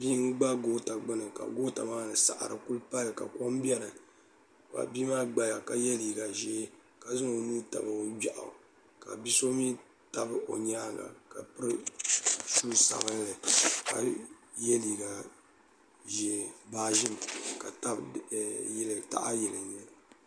bia n gba goota gbuni ka goota maa ni saɣari ku pali ka kom biɛni ka bia maa gbaya ka yɛ liiga ʒiɛ ka zaŋ o nuu tabi o gbiaw ka bia so mii dabi o nyaanga ka piri shuu sabinli ka yɛ liiga ʒiɛ baa ʒim ka tabi taha yili